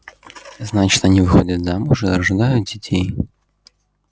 значит они выходят замуж и рождают детей